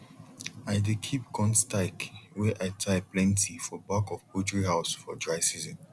i dey keep corn stike wey i tie plenty for back of poultry house for dry season